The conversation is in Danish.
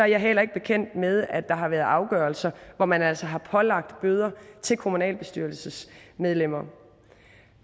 jeg heller ikke bekendt med at der har været afgørelser hvor man altså har pålagt bøder til kommunalbestyrelsesmedlemmer